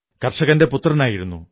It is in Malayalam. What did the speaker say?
കർഷകന്റെ പുത്രനായിരുന്നു